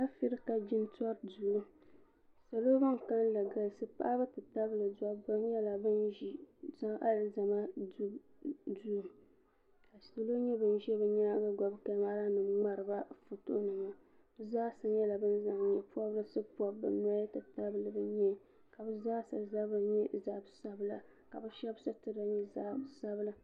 Afirika jintɔri duu salo bini kanli galisi paɣaba ti tabili dabba nyɛla bini zi alizama duu ka salo nyɛ bini zi bi daguya gbuni kamara nima mŋaari ba foto nima bi zaasa nyɛla bini zaŋ yee pɔbirisi pɔbi bi noya ti tabili bi yee ka bi zaasa zabiri nyɛ zabi sabila ka bi shɛba sitira nyɛ zaɣi sabila.